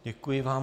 Děkuji vám.